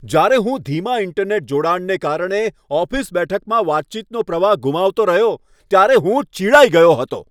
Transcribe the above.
જ્યારે હું ધીમા ઈન્ટરનેટ જોડાણને કારણે ઓફિસ બેઠકમાં વાતચીતનો પ્રવાહ ગુમાવતો રહ્યો, ત્યારે હું ચિડાઈ ગયો હતો.